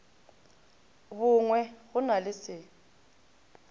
bongwe go na le se